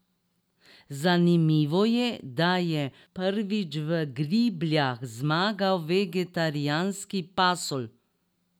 Zanimivo je, da je prvič v Gribljah zmagal vegetarijanski pasulj.